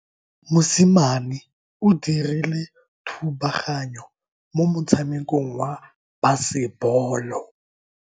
Mosimane o dirile thubaganyo mo motshamekong wa basebolo.